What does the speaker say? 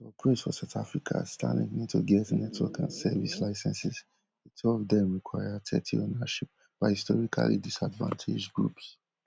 prince for south africa starlink need to get network and service licences two of dem require thirty ownership by historically disadvantage groups